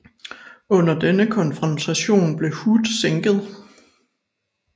Under denne konfrontation blev Hood sænket